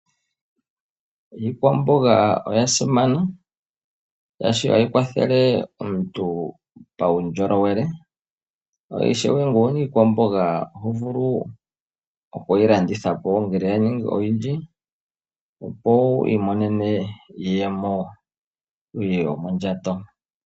Iikwamboga oya simana oshoka oha yi kwathele omuntu paundjolowele, yo ishewe ngele owu na iikwamboga oto vulu okuyi landithapo ngele ya ningi oyindji opo wu imonene iiyemo yomondjato.